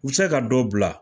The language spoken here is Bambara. U bɛ se ka dɔ bila